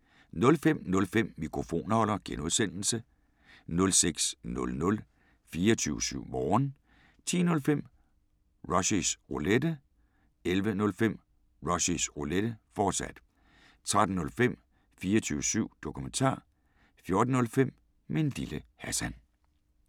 05:05: Mikrofonholder (G) 06:00: 24syv Morgen 10:05: Rushys Roulette 11:05: Rushys Roulette, fortsat 13:05: 24syv Dokumentar 14:05: Min Lille Hassan